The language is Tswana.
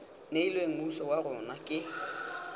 neilweng mmuso wa rona ke